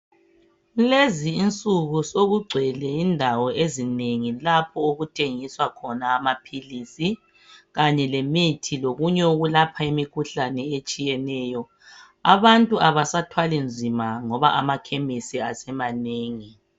Lezi insuku sokugcwele indawo ezinengi lapho okuthengiswa khona amaphilisi, kanye lemithi lokunye okulapha imikhuhlane etshiyeneyo, abantu abasathwali nzima ngoba amakhemisi asemanengi.